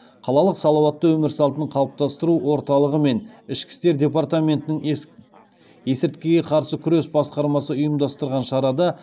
қалалық салауатты өмір салтын қалыптастыру орталығы мен ішкі істер департаментінің есірткіге қарсы күрес басқармасы ұйымдастырған шарада